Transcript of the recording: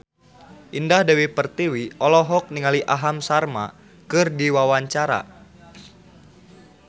Indah Dewi Pertiwi olohok ningali Aham Sharma keur diwawancara